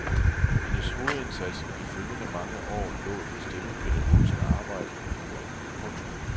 Hendes hovedindsats i de følgende mange år lå i det stemmepædagogiske arbejde med koret. punktum